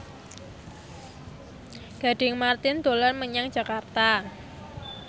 Gading Marten dolan menyang Jakarta